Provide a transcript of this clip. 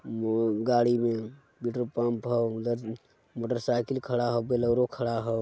वो गाड़ी में पेट्रोल पंप हउ अन्द्र मोटरसाइकिल खड़ा हउ बोलरों खड़ा हउ।